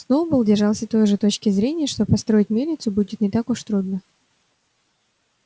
сноуболл держался той точки зрения что построить мельницу будет не так уж трудно